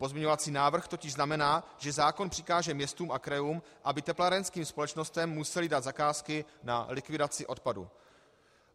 Pozměňovací návrh totiž znamená, že zákon přikáže městům a krajům, aby teplárenským společnostem musely dát zakázky na likvidaci odpadů.